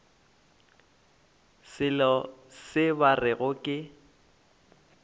selo se ba rego ke